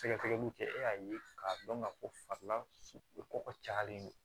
Sɛgɛsɛgɛliw kɛ e y'a ye k'a dɔn ka fɔ ko fala kɔgɔ cayalen don